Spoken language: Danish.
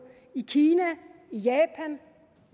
i kina i japan